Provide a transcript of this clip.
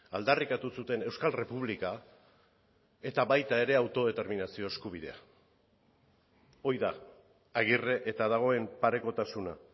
aldarrikatu zuten euskal errepublika eta baita ere autodeterminazio eskubidea hori da agirre eta dagoen parekotasuna